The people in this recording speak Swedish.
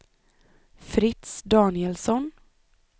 Fritz Danielsson